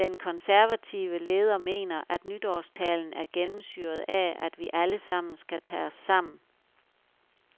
Den konservative leder mener, at nytårstalen er gennemsyret af, at vi alle sammen skal tage os sammen.